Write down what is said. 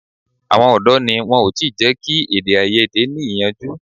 Àwọn ọ̀dọ́ ni wọn ò tí jẹ́ kí èdè-áiyedé ní ìyànjú.